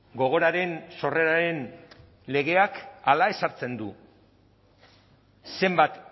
gogoraren sorreraren legeak hala ezartzen du zenbat